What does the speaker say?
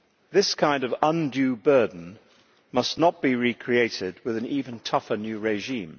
This kind of undue burden must not be recreated with an even tougher new regime.